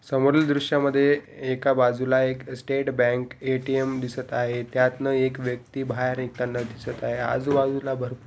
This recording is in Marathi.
समोरील दृश्या मध्ये एका बाजूला एक स्टेट बैंक ए_टी_एम दिसत आहेत. त्यातन एक व्यक्ति बाहैर येताना दिसत आहे. आजूबाजूला भरपूर --